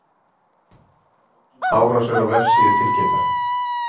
Árásir á vefsíðu tilkynntar